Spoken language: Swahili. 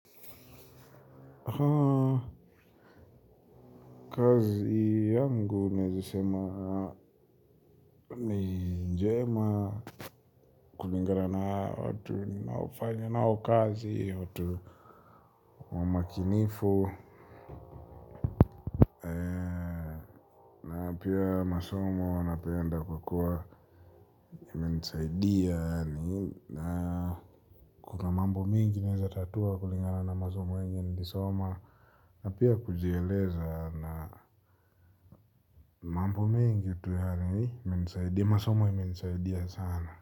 Haa kazi yangu naezasema ni njema kulingana na watu ninaofanya nao kazi watu wamakinifu na pia masomo wanapenda kukua imenisaidia yaani mambo mingi naeza tatua kulingana na masomo yenye nilisoma napia kujieleza na mambo mengi masomo imenisaidia sana.